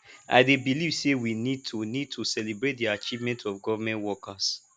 i dey believe say we need to need to celebrate di achievement of government workers